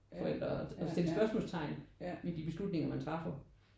Forældre og stille spørgsmålstegn ved de beslutninger man træffer